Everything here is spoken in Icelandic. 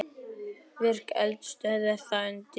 Virk eldstöð er þar undir.